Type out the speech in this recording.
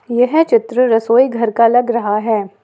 यह चित्र रसोई घर का लग रहा है।